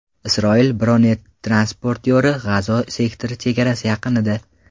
Isroil bronetransportyori G‘azo sektori chegarasi yaqinida.